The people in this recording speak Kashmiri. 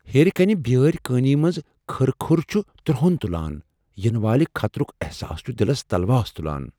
ہیرِ كَنہِ بیٲرۍ كٲنی منز كھٕر كھٕر چُھ ترہرُن تُلان ، ینہ والہ خطرُک احساس چھُ دلس تلواس تُلان۔